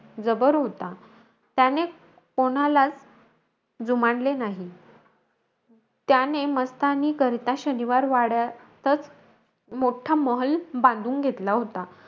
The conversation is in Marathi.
जबर होता. त्याने कोणालाचं जुमानले नाही. त्याने मस्तानीकरिता शनिवारवाड्यातचं, मोठा महाल बांधून घेतला होता.